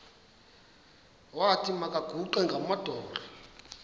wathi makaguqe ngamadolo